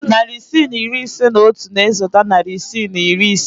Narị isii na iri ise na otu na-esote narị isii na iri ise.